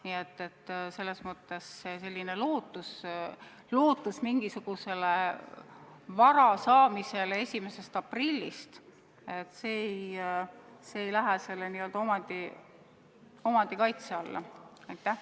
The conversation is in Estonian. Nii et lootus pärast 1. aprilli mingisugust vara saada ei lähe selle n-ö omandikaitse paragrahvi alla.